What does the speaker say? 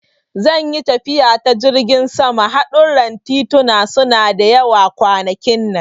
Zan yi tafiya ta jirgin sama, hadurran tituna suna da yawa a kwanakin nan.